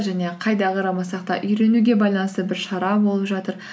және қайда қарамасақ та үйренуге байланысты бір шара болып жатыр